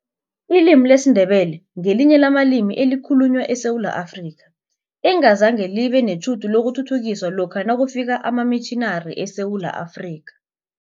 Ilimi lesiNdebele ngelinye lamalimi ekhalunywa eSewula Afrika, engazange libe netjhudu lokuthuthukiswa lokha nakufika amamitjhinari eSewula Afrika.